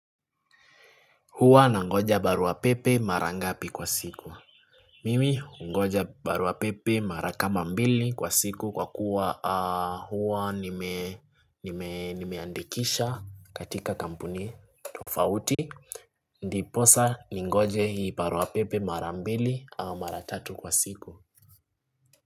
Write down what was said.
Huwa nangoja baruapepe mara ngapi kwa siku mimi ungoja baruapepe mara kama mbili kwa siku kwa kuwa huwa nimeandikisha katika kampuni tofauti ndiposa ningoje baruapepe mara mbili au mara tatu kwa siku.